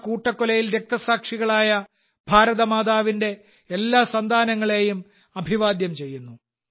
ആ കൂട്ടക്കൊലയിൽ രക്തസാക്ഷികളായ ഭാരതമാതാവിന്റെ എല്ലാ സന്താനങ്ങളെയും ഞാൻ അഭിവാദ്യം ചെയ്യുന്നു